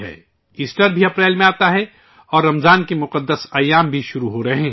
April میں ہی Easter بھی آتا ہے اور رمضان کے مقدس دن بھی شروع ہو رہے ہیں